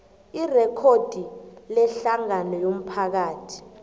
irekhodi lehlangano yomphakathi